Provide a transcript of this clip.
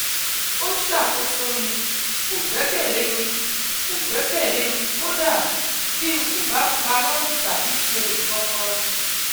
O ṣakoso mi; Kò gbẹ́kẹ̀lé mi; Kò gbẹ́kẹ̀lé mi kódà bí n kò bá parọ́ tàbí ṣe nǹkankan